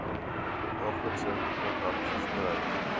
daaglikse kontak versprei